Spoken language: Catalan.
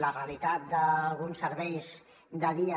la realitat d’alguns serveis de dia